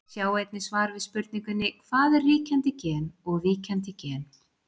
Sjá einnig svar við spurningunni Hvað er ríkjandi gen og víkjandi gen?